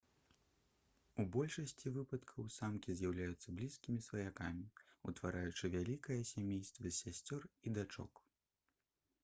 у большасці выпадкаў самкі з'яўляюцца блізкімі сваякамі утвараючы вялікае сямейства з сясцёр і дачок